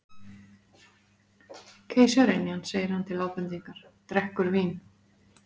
Keisaraynjan segir hann til ábendingar, drekkur vín